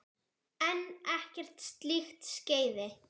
En ekkert slíkt skeði.